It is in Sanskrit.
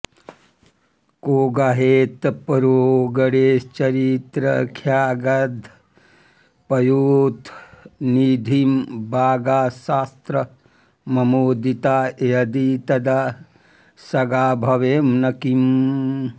को गाहेत परो गणेशचरिताख्यागाधपाथोनिधिं वागाशात्र ममोदिता यदि तदा सागा भवेयं न किम्